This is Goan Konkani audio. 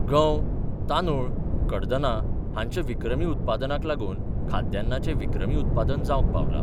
गंव, तांदुळ, कडदना हांच्या विक्रमी उत्पादनाक लागुन खाद्यान्नाचे विक्रमी उत्पादन जावंक पावला.